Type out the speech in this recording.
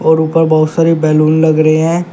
और ऊपर बहुत सारी बैलून लग रहे हैं।